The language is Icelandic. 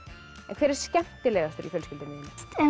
hver er skemmtilegastur í fjölskyldunni þinni